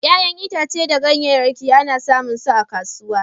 ƴa'ƴan itace da ganyayake ana samun su a kasuwa.